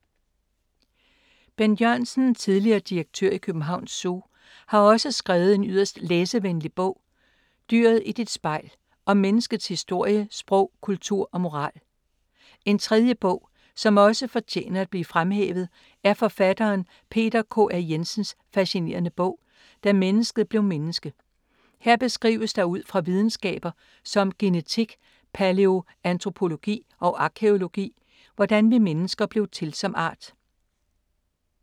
Bent Jørgensen, tidligere direktør i Københavns Zoo, har også skrevet en yderst læseværdig bog ”Dyret i dit spejl” om menneskets historie, sprog, kultur og moral. En tredje bog som også fortjener at blive fremhævet er forfatteren Peter K. A. Jensens fascinerende bog ”Da mennesket blev menneske”. Her beskrives der ud fra videnskaber som genetik, palæo-antropologi og arkæologi, hvordan vi mennesker blev til som art.